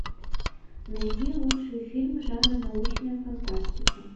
найди лучшие фильмы жанра научная фантастика